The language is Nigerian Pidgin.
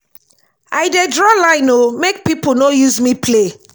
i dey draw line o make pipo no use me play.